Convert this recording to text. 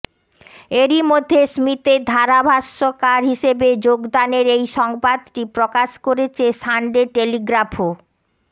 এরই মধ্যে স্মিথের ধারাভাষ্যকার হিসেবে যোগদানের এই সংবাদটি প্রকাশ করেছে সানডে টেলিগ্রাফও